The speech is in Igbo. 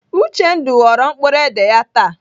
Uchendu ghọrọ mkpụrụ édè ya taa.